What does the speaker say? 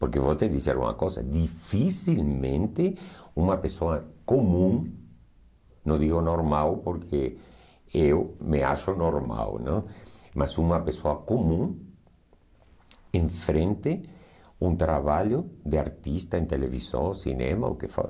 Porque vou te dizer uma coisa, dificilmente uma pessoa comum, não digo normal, porque eu me acho normal, não? mas uma pessoa comum, enfrente um trabalho de artista em televisão, cinema, o que for,